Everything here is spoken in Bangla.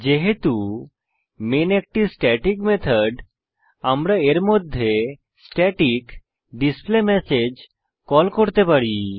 যেহেতু মেইন একটি স্ট্যাটিক মেথড আমরা এর মধ্যে স্ট্যাটিক ডিসপ্লেমেসেজ কল করতে পারি